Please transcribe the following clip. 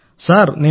Pradhan Mantri sir